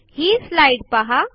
हि स्लाईड पहा